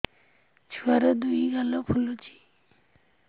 ଛୁଆର୍ ଦୁଇ ଗାଲ ଫୁଲିଚି